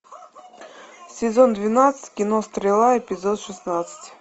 сезон двенадцать кино стрела эпизод шестнадцать